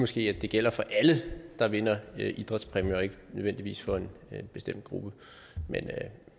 sige at det gælder for alle der vinder idrætspræmier og ikke nødvendigvis for en bestemt gruppe